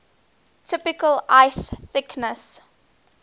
typical ice thickness